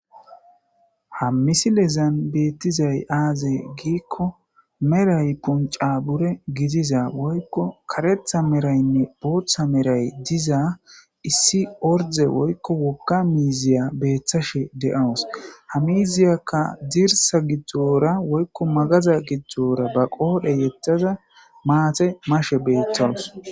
ha misilezan beettizay aaze giikko meray punca bure gidiza woykko karetha meraynne booththa meray diza issi orde woykko wogka miiziya beethashe de7awus hamiziyakka dirsa gidzdzoora woykko magaza gidzdzoora ba qoodhe yettaza maate mashe beeththawus